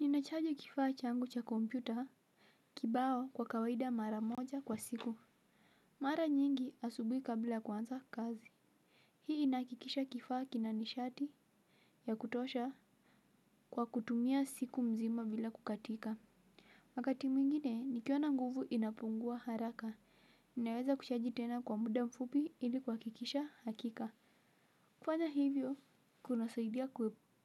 Ninachaji kifaa changu cha kompyuta kibao kwa kawaida mara moja kwa siku. Mara nyingi asubuhi kablaya kuanza kazi. Hii inahakikisha kifaa kinanishati ya kutosha kwa kutumia siku mzima bila kukatika. Wakati mwingine, nikiona nguvu inapungua haraka. Ninaweza kuchaji tena kwa muda mfupi ili kuha kikisha hakika. Kufanya hivyo kuna saidia